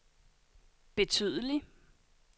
betydelig